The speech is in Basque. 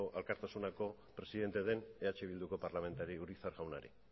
alkartasunako presidente den eh bilduko parlamentari urizar jaunari